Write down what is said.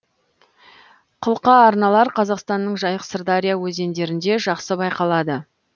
қылқа арналар қазақстанның жайық сырдария өзендерінде жақсы байқалады